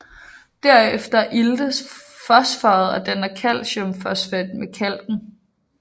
Derefter iltes fosforet og danner calciumfosfat med kalken